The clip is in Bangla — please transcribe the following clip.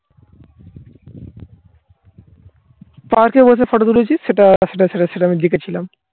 পা খেয়ে বসে photo তুলেছি. সেটা সেটা ছেড়ে আমি জিতেছিলাম